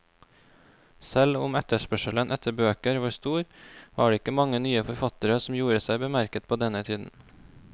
Selv om etterspørselen etter bøker var stor, var det ikke mange nye forfattere som gjorde seg bemerket på denne tiden.